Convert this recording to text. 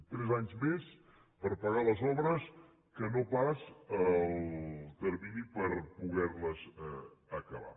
tres anys més per pagar les obres que no pas el termini per poder les acabar